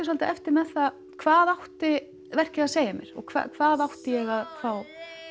svolítið eftir með það hvað átti verkið að segja mér og hvað átti ég að fá